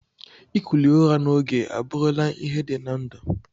Ikuli ụra na ogo aburu la ihe di na ndu.